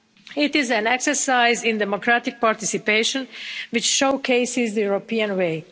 It is an exercise in democratic participation, which showcases the European way.